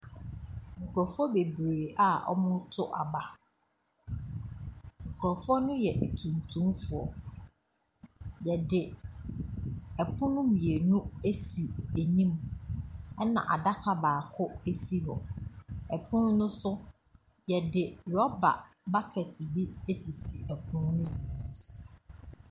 Nkurɔfoɔ bebree a wɔreto aba. Kurɔfoɔ no yɛ tuntumfoɔ. Wɔde pono mmienu asi anim, ɛna adaka baako si hɔ. Ɛpono no so, wɔde rɔba bucket I asisi pono no nyinaa so.